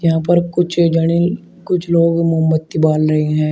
यहां पर कुछ जड़े कुछ लोग मोमबत्ती बान रही है।